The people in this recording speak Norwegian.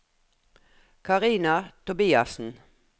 Karina Tobiassen